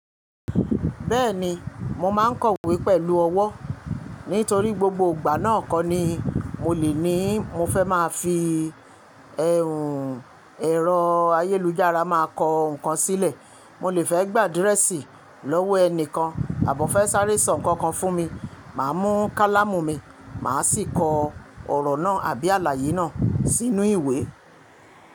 Bẹ́ẹ̀ni, mo máa ń kọ̀wé pẹ̀lú ọwọ́. Nítorí gbogbo ìgbà náà kọ́ ni mo lè ní mo fẹ́ má a fi ẹ̀rọ ayélujára máa kọ nǹkan sílẹ̀. Mo lè fẹ́ gbà adírẹ́ẹ̀sì lọ́wọ́ ẹnì kan àbó fẹ́ sáré ẹ̀ṣọ́ nǹkan kan fún mi, màá mú kálàmù mi, màá sì kọ ọ̀rọ̀ náà àbí àlàyé náà sínú ìwé.